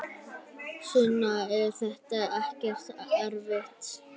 Sunna: Er þetta ekkert erfitt?